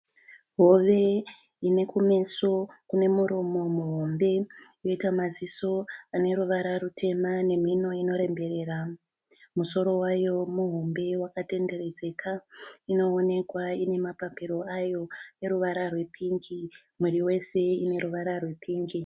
Hove ine kumeso kune muromo muhombe yoita maziso ane ruvara rutema nemhino inoremberera. Musoro wayo muhombe wakatenderedzeka. Inoonekwa ine mapapiro ayo neruvara rwepingi. Muviri wese une ruvara rwepingi.